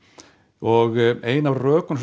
og ein af rökum sem